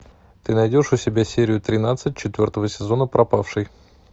ты найдешь у себя серию тринадцать четвертого сезона пропавший